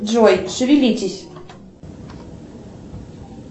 джой шевелитесь